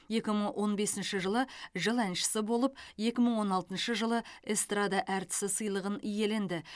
екі мың он бесінші жылы жыл әншісі болып екі мың он алтыншы жылы эстрада әртісі сыйлығын иеленді